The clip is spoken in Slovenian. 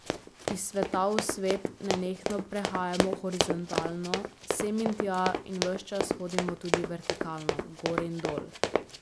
Iz sveta v svet nenehno prehajamo horizontalno, sem in tja, in ves čas hodimo tudi vertikalno, gor in dol.